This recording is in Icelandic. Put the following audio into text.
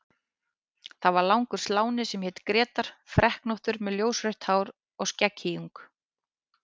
Það var langur sláni sem hét Grétar, freknóttur með ljósrautt hár og skegghýjung.